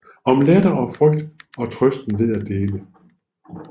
Om latter og frygt og trøsten ved at dele